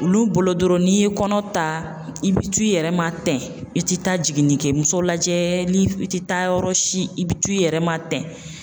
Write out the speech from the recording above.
Olu bolo dɔrɔn n'i ye kɔnɔ ta i bɛ t'u yɛrɛ ma tɛn i tɛ taa jiginnikɛmuso lajɛ ni i tɛ taa yɔrɔ si i bɛ t'u yɛrɛ ma tɛn